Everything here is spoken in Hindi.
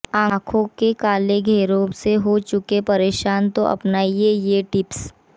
आंखों के काले घेरों से हो चुके है परेशान तो अपनाइए ये टिप्स